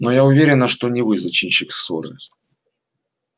но я уверена что не вы зачинщик ссоры